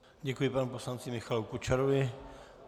Děkuji panu poslanci Michalu Kučerovi.